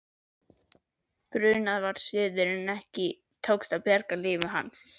Brunað var suður en ekki tókst að bjarga lífi hans.